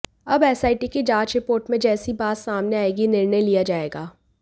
अब एसआईटी की जांच रिपोर्ट में जैसी बात सामने आएगी निर्णय लिया जाएगा